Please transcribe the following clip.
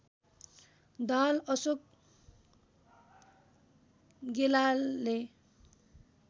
Dahal Ashok गेलालले